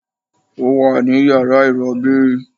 Ó wà ní yàrá ìrobí